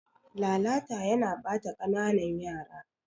Lalata yana ɓata kananan yara.